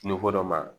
Tulo dɔ ma